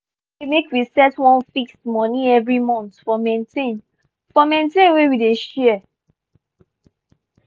bin talk say make we set one fixed money every month for maintain for maintain wey we dey share.